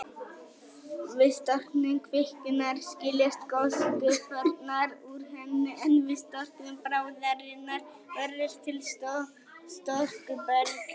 Við storknun kvikunnar skiljast gosgufurnar úr henni, en við storknun bráðarinnar verður til storkuberg.